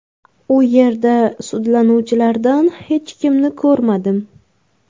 U yerda sudlanuvchilardan hech kimni ko‘rmadim.